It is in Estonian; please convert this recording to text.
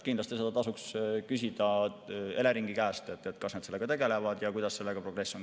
Kindlasti tasuks küsida Eleringi käest, kas nad sellega tegelevad ja kuidas progress on.